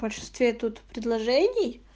в большинстве тут предложений